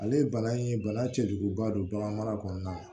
Ale ye bana ye bana cɛjuguba don bagan mara kɔnɔna na